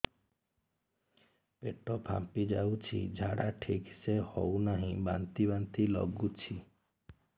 ପେଟ ଫାମ୍ପି ଯାଉଛି ଝାଡା ଠିକ ସେ ହଉନାହିଁ ବାନ୍ତି ବାନ୍ତି ଲଗୁଛି